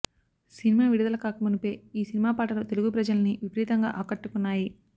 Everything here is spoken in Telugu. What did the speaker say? సినిమా విడుదల కాక మునుపే ఈ సినిమా పాటలు తెలుగు ప్రజల్నీ విపరీతంగా ఆకట్టుకున్నాయి